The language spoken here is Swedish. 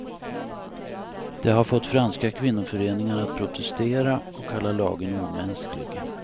Det har fått franska kvinnoföreningar att protestera och kalla lagen omänsklig.